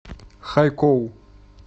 хайкоу